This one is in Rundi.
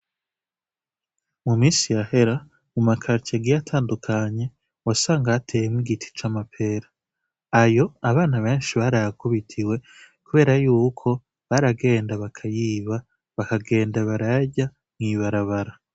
Mu misi yahera mu makaritiye agiye atandukanye wasanga hateyemwo igiti c'amapera. Ayo, abana benshi barayakubitiwe kubera yuko baragenda bakayiba bakagenda barayarya mw'ibarabara.